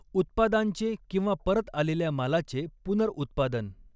उत्पादांचे किंवा परत आलेल्या मालाचे पुनर्उत्पादन.